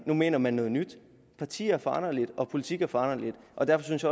nu mener man noget nyt partier er foranderlige og politik er foranderligt og derfor synes